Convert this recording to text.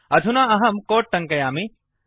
अधुना अहं कोट् टङ्कयामि